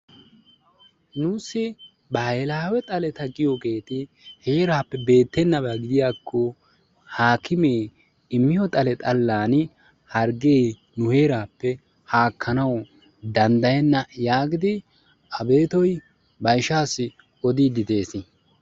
Nuussi bahilaawe xaleta giyogeeti heeraappe bettennabaa gidiyakko haakkimee immiyo xale xallaani harggee nu heeraapp haakkanawu danddayenna yaagidi Abeettoy ba ishaassi oddiddi de'ees.